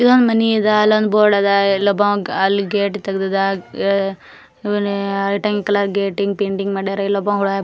ಇದೊಂದ್ ಮನೆ ಅದ ಅಲ್ ಒಂದ್ ಬೋರ್ಡ್ ಅದ ಎಲ್ಲ ಅಲ್ಲಿ ಗೇಟ್ ತೆಗ್ದಾದ ಆಮೇಲೆ ಪೇಂಟಿಂಗ್ ಮಾಡ್ಯಾರೆ